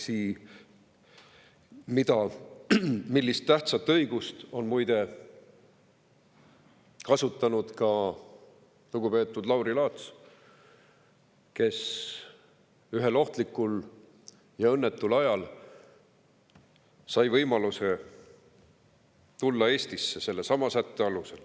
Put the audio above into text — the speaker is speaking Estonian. Seda tähtsat õigust on muide kasutanud ka lugupeetud Lauri Laats, kes ühel ohtlikul ja õnnetul ajal sai sellesama sätte alusel võimaluse tulla Eestisse.